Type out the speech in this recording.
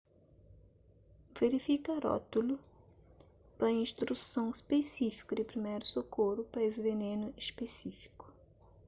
verifika rótulu pa instruson spisífiku di priméru sokoru pa es venenu spisífiku